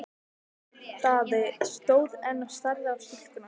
Daði stóð enn og starði á stúlkuna.